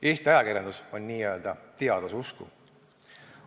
Eesti ajakirjandus on n-ö teaduse usku.